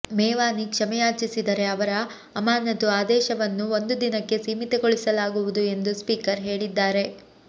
ಮೇವಾನಿ ಕ್ಷಮೆ ಯಾಚಿಸಿದರೆ ಅವರ ಅಮಾನತು ಆದೇಶವನ್ನು ಒಂದು ದಿನಕ್ಕೆ ಸೀಮಿತಗೊಳಿಸಲಾಗುವುದು ಎಂದು ಸ್ಪೀಕರ್ ಹೇಳಿದ್ದಾರೆ